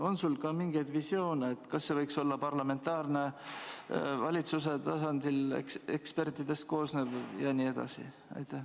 On sul ka mingeid visioone, kas see võiks olla parlamentaarne, valitsuse tasandil, ekspertidest koosnev vm?